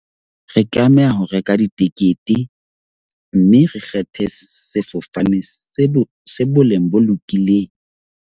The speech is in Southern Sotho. Re tlameha ho reka ditekete mme re kgethe sefofane se bo boleng bo lokileng.